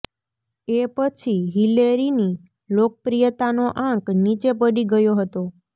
એ પછી હિલેરીની લોકપ્રિયતાનો આંક નીચે પડી ગયો હતો